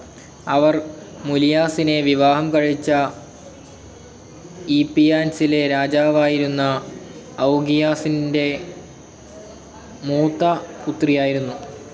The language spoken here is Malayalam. അവർ മുലിയാസിനെ വിവാഹം കഴിച്ച ഈപ്പിയാൻസിലെ രാജാവായിരുന്ന ഔഗിയാസ് ൻ്റെ മൂത്തപുത്രിയായിരുന്നു.